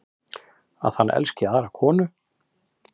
Að hann elski aðra konu.